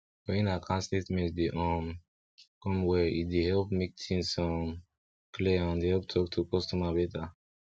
when account statement dey um come well e dey help make things um clear and help talk to customer better